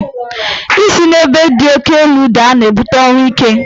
Isi n'ebe di oke elu daa na-ebute ọnwụ ike.